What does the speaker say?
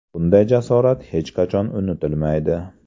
Bunday jasorat hech qachon unutilmaydi.